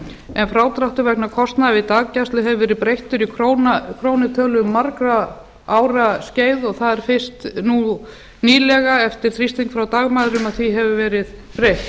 en frádráttur vegna kostnaðar við daggæslu hefur verið breyttur í krónutölu um margra ára skeið og það er fyrst nú nýlega eftir þrýsting frá dagmæðrum að því hefur verið breytt